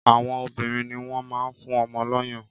Àwọn obìnrin ni wọ́n máa ń fún ọmọ lọ́yàn